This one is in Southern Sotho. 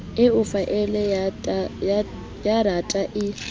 eo faele ya data e